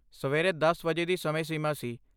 ਸਵੇਰੇ ਦਸ ਵਜੇ ਦੀ ਸਮੇਂ ਸੀਮਾ ਸੀ